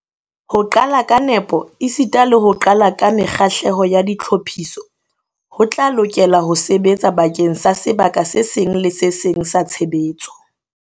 Ho qala ka nepo esita le ho qala ka mekgahlelo ya ditlhophiso ho tla lokela ho sebetsa bakeng sa sebaka se seng le se seng sa tshebetso.